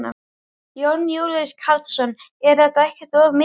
Jón Júlíus Karlsson: Er þetta ekkert of mikið?